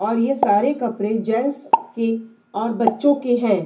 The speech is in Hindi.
और ये सारे कपड़े जेंट्स के और बच्चे के है।